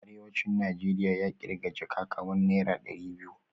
Arewacin Najeriya ya kirga jaka kamar naira dari biyu